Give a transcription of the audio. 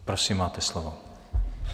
Prosím, máte slovo.